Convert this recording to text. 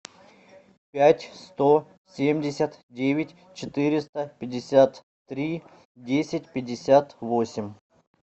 пять сто семьдесят девять четыреста пятьдесят три десять пятьдесят восемь